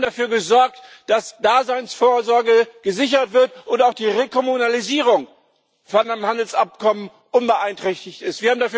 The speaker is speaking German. Wir haben dafür gesorgt, dass Daseinsvorsorge gesichert wird und auch die Rekommunalisierung von dem Handelsabkommen unbeeinträchtigt ist.